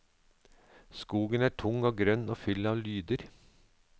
Skogen er tung og grønn og full av lyder.